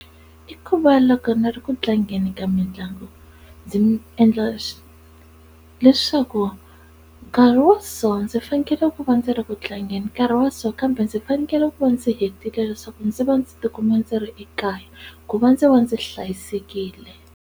I ku va loko ni ri ku tlangeni ka mitlangu ndzi endla leswaku nkarhi wa so ndzi fanekele ku va ndzi ri ku tlangeni nkarhi wa so kambe ndzi fanekele ku va ndzi hetile leswaku ndzi va ndzi tikuma ndzi ri ekaya ku va ndzi va ndzi hlayisekile.